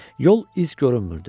Yol iz görünmürdü.